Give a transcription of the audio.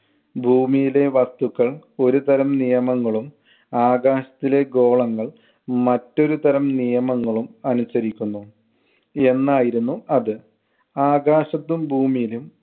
ഭൂമിയിലെ വസ്തുക്കൾ ഒരുതരം നിയമങ്ങളും ആകാശത്തിലെ ഗോളങ്ങൾ മറ്റൊരുതരം നിയമങ്ങളും അനുസരിക്കുന്നു എന്നായിരുന്നു അത്. ആകാശത്തും ഭൂമിയിലും